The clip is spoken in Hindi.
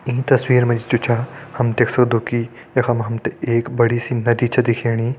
ईं तस्वीर मा जी जु छा हम देख सक्दो की यखम हम तें एक बड़ी सी नदी छ दिखेणी।